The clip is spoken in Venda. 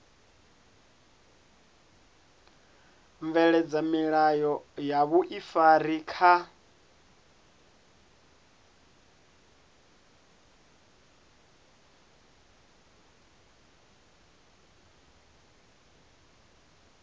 bveledza milayo ya vhuifari kha